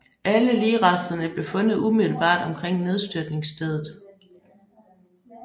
Alle ligresterne blev fundet umiddelbart omkring nedstyrtningsstedet